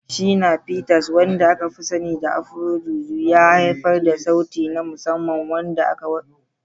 Shina Peters, wanda aka fi sani da Afro-Juju fusion, ya haifar da sauti na musamman wanda ya wuce tsararraki.